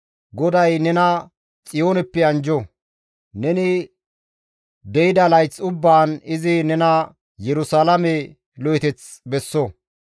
GODAY nena Xiyooneppe anjjo! Neni de7ida layth ubbaan Izi nena Yerusalaame lo7eteth besso!